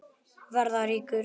Verða ríkur.